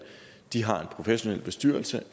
de har en professionel bestyrelse